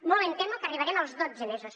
molt em temo que arribarem als dotze mesos